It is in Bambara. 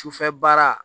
Sufɛ baara